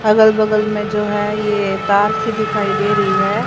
अगल बगल में जो है यह तार सी दिखाई दे रही है।